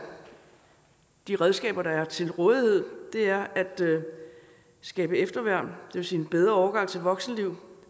de redskaber der er til rådighed er at skabe efterværn vil sige en bedre overgang til voksenlivet og